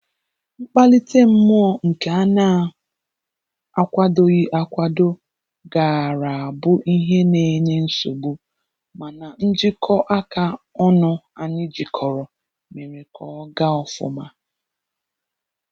Mkpalite mmụọ nke a na akwadoghị akwado gaara abụ ihe na-enye nsogbu, mana njikọ aka ọnụ anyị jikọrọ mere ka ọ gaa ofụma